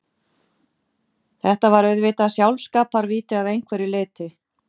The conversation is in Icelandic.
Þetta var auðvitað sjálfskaparvíti að einhverju leyti.